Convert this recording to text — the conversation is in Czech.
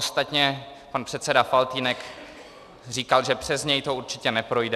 Ostatně pan předseda Faltýnek říkal, že přes něj to určitě neprojde.